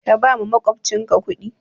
Ka bawa makwabcinka kudi